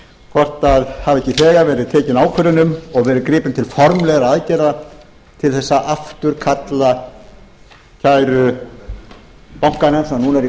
hvort það hafi ekki þegar verið tekin ákvörðun um og verið gripið til formlegra aðgerða til þess að afturkalla kæru bankanna sem nú eru